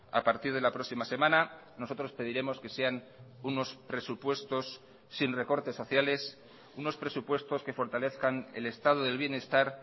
a partir de la próxima semana nosotros pediremos que sean unos presupuestos sin recortes sociales unos presupuestos que fortalezcan el estado del bienestar